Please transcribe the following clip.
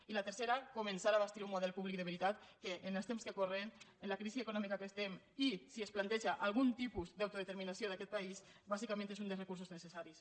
i la tercera començar a bastir un model públic de veritat que en els temps que corren amb la crisi econòmica en què estem i si es planteja algun tipus d’autodeterminació d’aquest país bàsicament és un dels recursos necessaris